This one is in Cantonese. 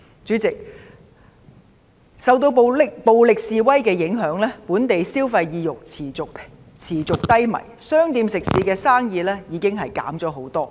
主席，受到暴力示威的影響，本地消費意欲持續低迷，店鋪食肆生意已大減。